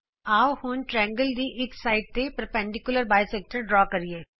ਆਉ ਹੁਣ ਤ੍ਰਿਕੋਣ ਦੇ ਇਕ ਭਾਗ ਤੇ ਇਕ ਲੰਬਰੇਖਾ ਖਿੱਚੀਏ